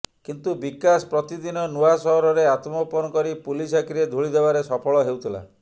କିନ୍ତୁ ବିକାଶ ପ୍ରତିଦିନ ନୂଆ ସହରରେ ଆତ୍ମଗୋପନ କରି ପୁଲିସ ଆଖିରେ ଧୂଳି ଦେବାରେ ସଫଳ ହେଉଥିଲା